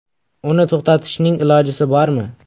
Uni to‘xtatishning ilojisi bormi?